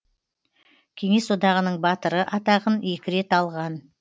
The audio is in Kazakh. кеңес одағының батыры атағын екі рет алған